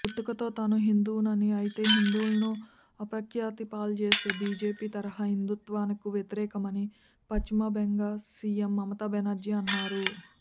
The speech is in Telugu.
పుట్టుకతో తాను హిందువునని అయితే హిందువులను అపఖ్యాతిపాల్జేసే బీజేపీ తరహా హిందుత్వకు వ్యతిరేకమని పశ్చిమబంగ సీఎం మమతా బెనర్జీ అన్నారు